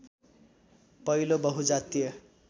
पहिलो बहुजातीय